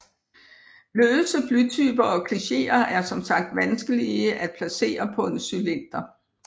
Løse blytyper og klicheer er som sagt vanskelige at placere på en cylinder